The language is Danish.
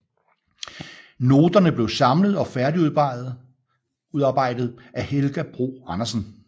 Noterne blev samlet og færdigudarbejdet af Helga Bro Andersen